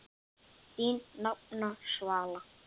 Þín nafna, Svala.